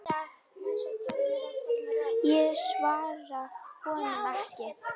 Ég svara honum ekki.